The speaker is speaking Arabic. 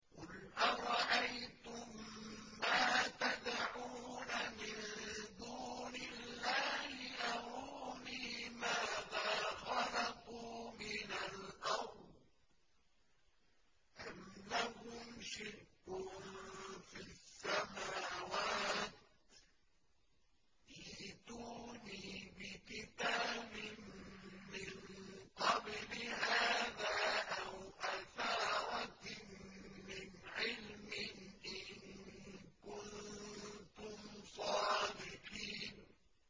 قُلْ أَرَأَيْتُم مَّا تَدْعُونَ مِن دُونِ اللَّهِ أَرُونِي مَاذَا خَلَقُوا مِنَ الْأَرْضِ أَمْ لَهُمْ شِرْكٌ فِي السَّمَاوَاتِ ۖ ائْتُونِي بِكِتَابٍ مِّن قَبْلِ هَٰذَا أَوْ أَثَارَةٍ مِّنْ عِلْمٍ إِن كُنتُمْ صَادِقِينَ